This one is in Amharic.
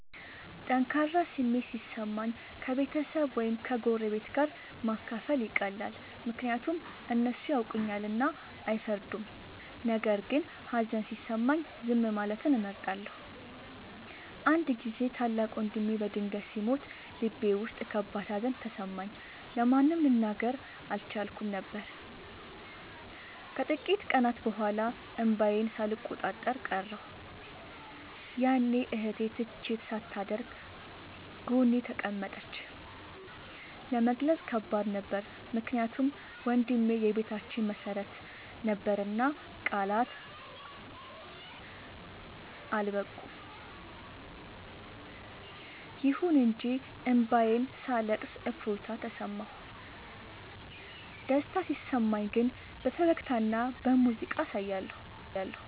ጠንካራ ስሜት ሲሰማኝ ከቤተሰብ ወይም ከጎረቤት ጋር ማካፈል ይቀላል፤ ምክንያቱም እነሱ ያውቁኛልና አይፈርዱም። ነገር ግን ሀዘን ሲሰማኝ ዝም ማለትን እመርጣለሁ። አንድ ጊዜ ታላቅ ወንድሜ በድንገት ሲሞት ልቤ ውስጥ ከባድ ሀዘን ተሰማኝ፤ ለማንም ልናገር አልቻልኩም ነበር። ከጥቂት ቀናት በኋላ እንባዬን ሳልቆጣጠር ቀረሁ፤ ያኔ እህቴ ትችት ሳታደርግ ጎኔ ተቀመጠች። ለመግለጽ ከባድ ነበር ምክንያቱም ወንድሜ የቤታችን መሰረት ነበርና ቃላት አልበቁም። ይሁን እንጂ እንባዬን ሳለቅስ እፎይታ ተሰማሁ። ደስታ ሲሰማኝ ግን በፈገግታና በሙዚቃ አሳያለሁ።